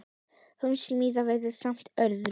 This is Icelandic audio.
Hún smíðaði vefinn ásamt öðrum.